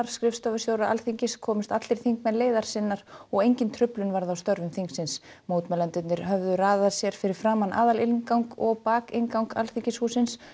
skrifstofustjóra Alþingis komust allir þingmenn leiðar sinnar og engin truflun varð á störfum þingsins mótmælendur höfðu raðað sér fyrir framan aðalinngang og bakinngang í Alþingishúsið